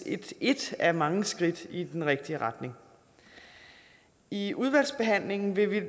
et et af mange skridt i den rigtige retning i udvalgsbehandlingen vil